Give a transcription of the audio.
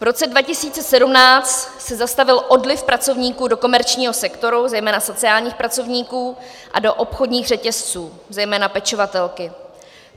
V roce 2017 se zastavil odliv pracovníků do komerčního sektoru, zejména sociálních pracovníků, a do obchodních řetězců, zejména pečovatelky.